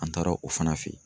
An taara o fana fe yen.